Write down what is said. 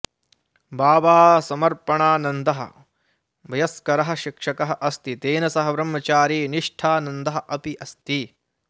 बाबासमर्पणानन्दः वयस्करः शिक्षकः अस्ति तेन सह ब्रह्मचारीनिष्ठानन्दः अपि अस्ति